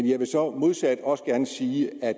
jeg vil så modsat også gerne sige at